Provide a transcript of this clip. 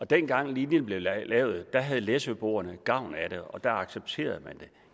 dengang linjen blev lavet havde læsøboerne gavn af den og da accepterede man